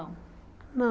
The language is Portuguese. Não